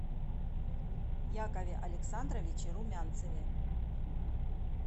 якове александровиче румянцеве